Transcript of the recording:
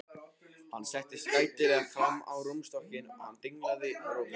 Hún settist gætilega fram á rúmstokkinn og hann dinglaði rófunni.